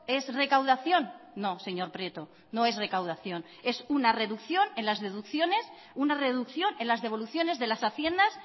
es recaudación no señor prieto no es recaudación es una reducción en las deducciones una reducción en las devoluciones de las haciendas